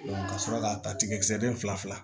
ka sɔrɔ ka ta tigɛ den fila fila